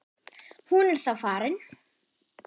Hún er þá farin.